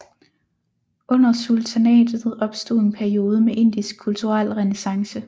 Under sultanatet opstod en periode med indisk kulturel renæssance